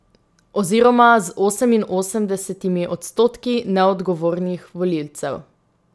Oziroma z oseminosemdesetimi odstotki neodgovornih volivcev.